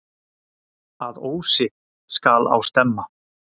Að ósi skal á stemma.